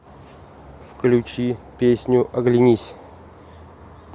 включи песню оглянись